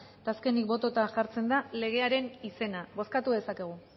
eta azkenik bototara jartzen da legearen izena bozkatu dezakegu